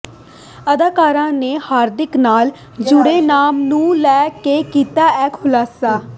ਅਦਾਕਾਰਾ ਨੇ ਹਾਰਦਿਕ ਨਾਲ ਜੁਡ਼ੇ ਨਾਮ ਨੂੰ ਲੈ ਕੇ ਕੀਤਾ ਇਹ ਖੁਲਾਸਾ